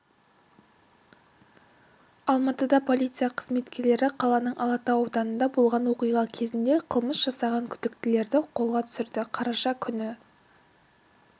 алматыда полиция қызметкерлері қаланың алатау ауданында болған оқиға кезінде қылмыс жасаған күдіктілерді қолға түсірді қараша күні